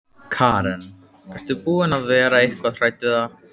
Karen: Ert þú búin að vera eitthvað hrædd við það?